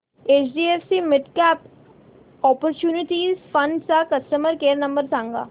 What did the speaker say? HDFC midcap opportunities fund चा customer care number सांग